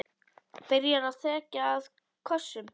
Byrjar að þekja það kossum.